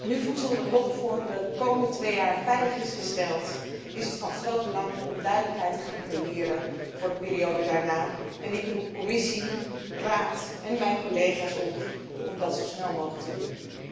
Nu voedselhulp voor de komende twee jaar veilig is gesteld, is het van groot belang duidelijkheid te creëren voor de periode daarna en ik roep Commissie, Raad en mijn collega's op om dat zo snel mogelijk te doen.